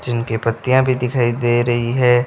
जिनके पत्तियां भी दिखाई दे रही है।